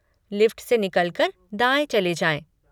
Lift से निकल कर दाएँ चले जाएँ।